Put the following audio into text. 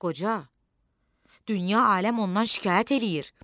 Qoca, dünya aləm ondan şikayət eləyir.